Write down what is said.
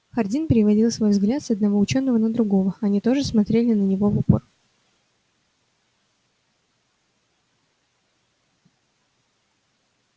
хардин переводил свой взгляд с одного учёного на другого они тоже смотрели на него в упор